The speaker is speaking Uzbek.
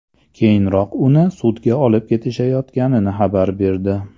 Keyinroq uni sudga olib ketishayotganini xabar berdi.